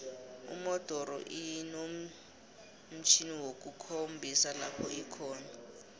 umodoro inomtjhjniwokukhombisa lopho ikhona